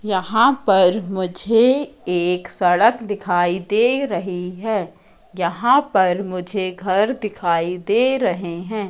यहां पर मुझे एक सड़क दिखाई दे रही है यहां पर मुझे घर दिखाई दे रहे हैं।